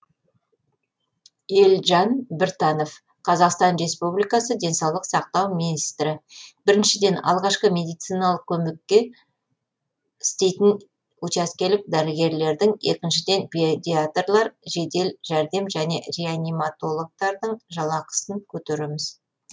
елжан біртанов қазақстан республикасы денсаулық сақтау министрі біріншіден алғашқы медициналық көмекте істейтін учаскелік дәрігерлердің екіншіден педиаторлар жедел жәрдем және реаниматологтардың жалақысын көтереміз